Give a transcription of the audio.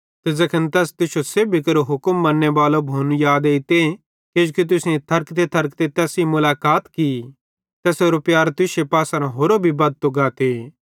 ते ज़ैखन तैस तुश्शो सेब्भी केरू हुक्मन मन्नेबाले भोनू याद एइते किजोकि तुसेईं थरकतेथरकते तैस सेइं मुलाकात की तैसेरो प्यार तुश्शे पासेरां होरो भी बद्धतो गाते